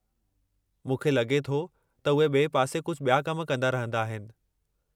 मूंखे लॻे थो त उहे ॿिए पासे कुझु ॿिया कम कंदा रहंदा आहिनि।